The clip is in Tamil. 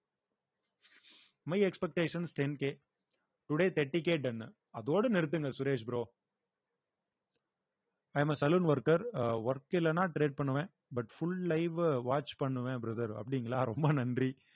my expectation strength உ today thirty K done உ அதோட நிறுத்துங்க Suresh bro i am a saloon worker அ work இல்லைன்னா trade பண்ணுவேன் but full live அ watch பண்ணுவேன் brother அப்படிங்களா ரொம்ப நன்றி